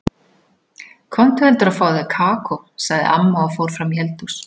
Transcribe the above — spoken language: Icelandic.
Komdu heldur og fáðu þér kakó, sagði amma og fór fram í eldhús.